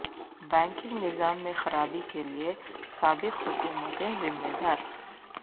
banking نظام میں خرابی کیلئے سابق حکومتیں ذمہ دار